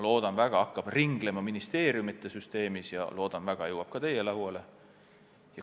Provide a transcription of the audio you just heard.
Loodan väga, et see hakkab ministeeriumide süsteemis ringlema ja jõuab ka teie lauale.